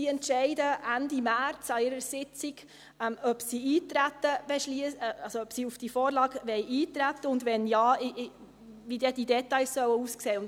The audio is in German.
Diese entscheidet Ende März an ihrer Sitzung, ob sie auf die Vorlage eintreten will, und wenn ja, wie dann die Details aussehen sollen.